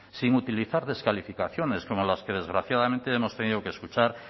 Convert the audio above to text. sin utilizar descalificaciones como las que desgraciadamente hemos tenido que escuchar